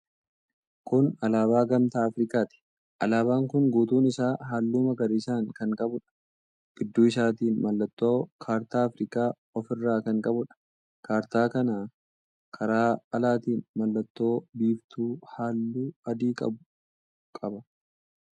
Kun alaabaa Gamtaa Afirikaati. Alaabaan kun guutuun isaa halluu magariisa kan qabuudha. Gidduu isaatiin mallattoo kaartaa Afrikaa ofirraa kan qabuudha. Kaartaa kana karaa alaatiin mallattoo biiftuu halluu adii qabu qaba.